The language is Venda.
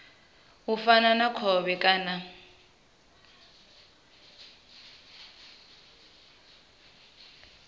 u fana na khovhe kana